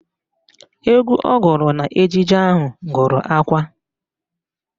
Egwu ọ gụrụ n'ejije ahụ gụrụ akwa